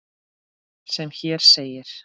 sem hér segir